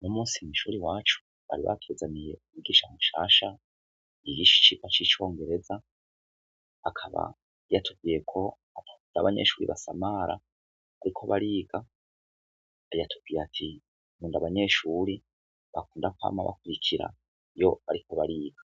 N'umusi mishuri wacu bari bakezaniye ubugisha mushasha iyigishi icipa c'icongereza akaba yatuviyeko kunda abanyeshuri basamara, ariko bariga ayatukiye ati nunda abanyeshuri bakunda kwama bakurikira iyo, ariko bariga